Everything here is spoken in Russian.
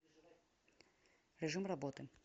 режим работы